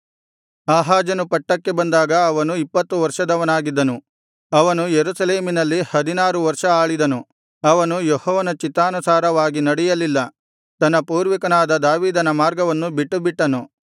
ಆಹಾಜನು ಪಟ್ಟಕ್ಕೆ ಬಂದಾಗ ಅವನು ಇಪ್ಪತ್ತು ವರ್ಷದವನಾಗಿದ್ದನು ಅವನು ಯೆರೂಸಲೇಮಿನಲ್ಲಿ ಹದಿನಾರು ವರ್ಷ ಆಳಿದನು ಅವನು ಯೆಹೋವನ ಚಿತ್ತಾನುಸಾರವಾಗಿ ನಡೆಯಲಿಲ್ಲ ತನ್ನ ಪೂರ್ವಿಕನಾದ ದಾವೀದನ ಮಾರ್ಗವನ್ನು ಬಿಟ್ಟುಬಿಟ್ಟನು